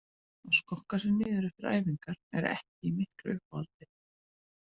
Að skokka sig niður eftir æfingar er ekki í miklu uppáhaldi.